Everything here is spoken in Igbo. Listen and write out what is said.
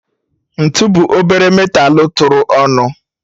Ntu bụ obere metalu tụrụ ọnụ